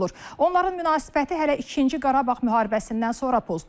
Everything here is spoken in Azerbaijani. Onların münasibəti hələ ikinci Qarabağ müharibəsindən sonra pozulub.